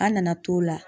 An nana t'o la